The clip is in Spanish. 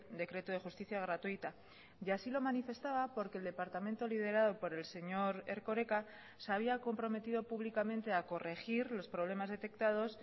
decreto de justicia gratuita y así lo manifestaba porque el departamento liderado por el señor erkoreka se había comprometido públicamente a corregir los problemas detectados